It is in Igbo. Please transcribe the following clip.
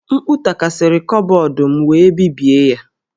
M̀kpú takasịrị kọbọd m wee bibie ya